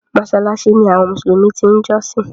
Mọ́ṣáláṣí ní àwọn mùsùlùmí ti ń jọ́sìn.